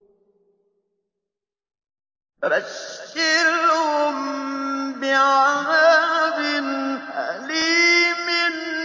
فَبَشِّرْهُم بِعَذَابٍ أَلِيمٍ